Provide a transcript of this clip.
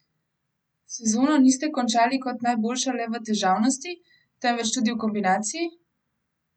Sezono niste končali kot najboljša le v težavnosti, temveč tudi v kombinaciji?